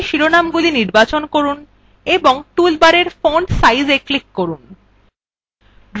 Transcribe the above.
তাহলে শিরোনামগুলি নির্বাচন করুন এবং toolbar font sizeএ click করুন